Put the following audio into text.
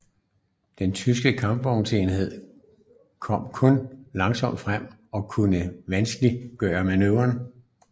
De tyske kampvognsenheder kom kun langsomt frem og kunne vanskeligt manøvrere